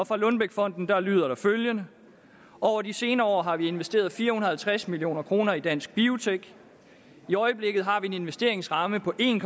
fra lundbeckfonden lyder der følgende over de senere år har vi investeret fire hundrede og tres million kroner i dansk biotek i øjeblikket har vi en investeringsramme på en